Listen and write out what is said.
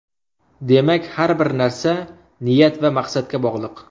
Demak, har bir narsa niyat va maqsadga bog‘liq.